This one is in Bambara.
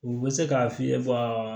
U bɛ se k'a f'i ye